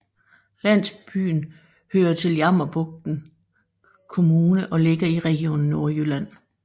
Landsbyen hører til Jammerbugt Kommune og ligger i Region Nordjylland